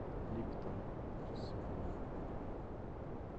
липтон рассыпной